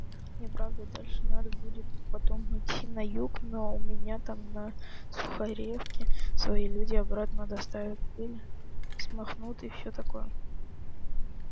мне правда дальше надо будет потом идти на юг но у меня там на сухаревке свои люди обратно доставят пыль смахнут и всё такое